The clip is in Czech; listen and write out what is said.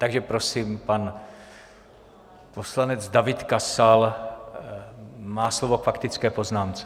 Takže prosím, pan poslanec David Kasal má slovo k faktické poznámce.